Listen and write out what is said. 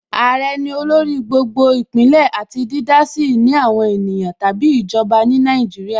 Àrẹ ní olórí gbogbo Ìpínlẹ̀ àti dídá sí ìní àwọn ènìyàn tàbí ìjọba ní Nàìjíríà